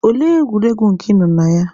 Olee egwuregwu nke ị nọ na ya?